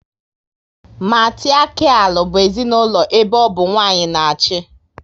Matiriakial bụ ezinaụlọ ebe ọ bụ nwanyị na achị